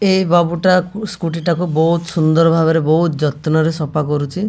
ଏ ବାବୁ ଟା ସ୍କୁଟି ଟାକୁ ବହୁତ ସୁନ୍ଦର ଭାବରେ ବହୁତ ଯତ୍ନ ରେ ସଫା କରୁଛି।